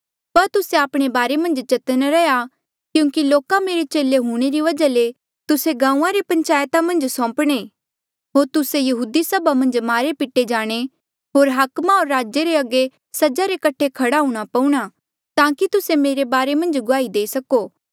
पर तुस्से आपणे बारे मन्झ चतन्न रैहया क्यूंकि लोका मेरे चेले हूंणे री वजहा ले तुस्से गांऊँआं रे पंचायता मन्झ सौंपणे होर तुस्से यहूदी सभा मन्झ मारे पिटे जाणे होर हाकमा होर राजे रे अगे सज़ा रे कठे खड़े हूंणां पौऊणा ताकि तुस्से मेरे बारे मन्झ गुआही देई सको